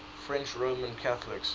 french roman catholics